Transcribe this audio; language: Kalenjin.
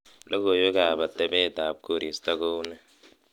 logoiwek ab atebeet ab koristo ko unee